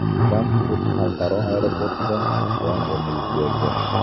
Frankfurt xalqaro aeroportida yong‘in yuz berdi.